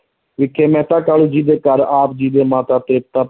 ਵਿਖੇ ਮਹਿਤਾ ਕਾਲੂ ਜੀ ਦੇ ਘਰ ਆਪ ਜੀ ਦੇ ਮਾਤਾ ਤ੍ਰਿਪਤਾ,